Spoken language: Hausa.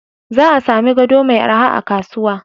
Za a sami gado mai araha a kasuwa.